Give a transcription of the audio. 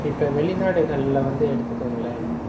இப்ப வெளிநாடுகள்ல வந்து எடுத்துக்கோங்களேன்